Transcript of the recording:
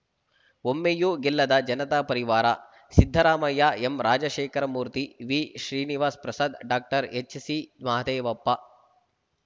ಒಮ್ಮೆಯೂ ಗೆಲ್ಲದ ಜನತಾ ಪರಿವಾರ ಸಿದ್ದರಾಮಯ್ಯ ಎಂರಾಜಶೇಖರಮೂರ್ತಿ ವಿಶ್ರೀನಿವಾಸಪ್ರಸಾದ್‌ ಡಾಎಚ್‌ಸಿಮಹದೇವಪ್ಪ